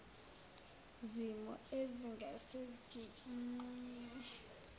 zimo ezingase zinqunywe